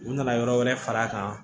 U nana yɔrɔ wɛrɛ far'a kan